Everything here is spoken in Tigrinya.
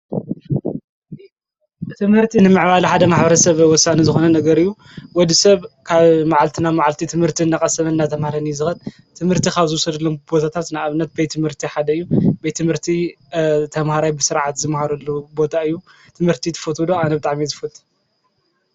ትምህርቲ ንምዕባለ ሓደ ማሕበረሰብ ወሳኒ ዝኮነ ነገር እዩ ፤ ወዲሰብ ካብ መዓልቲ ናብ መዓልቲ ትምህርቲ እናቀሰመ እናተምሃረን እዩ ዝከድ ትምህርቲ ካብ ዝዉሰደሎም ቦታታት ንኣብነት ቤት ትምህርቲ ሓደ እዩ ቤት ትምህርቲ ተምሃራይ ብስርዓት ዝምሃረሉ ቦታ እዩ። ትምህርቲ ትፈትዉ ዶ ኣነ ብጣዕሚ እየ ዝፈትዉ?